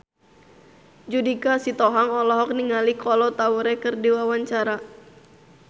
Judika Sitohang olohok ningali Kolo Taure keur diwawancara